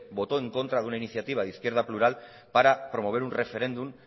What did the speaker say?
votó en contra de una iniciativa de izquierda plural para promover un referéndum